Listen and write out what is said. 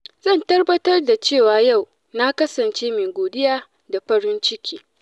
Zan tabbatar da cewa yau na kasance mai godiya da farin ciki.